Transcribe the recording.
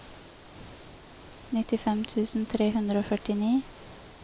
nittifem tusen tre hundre og førtini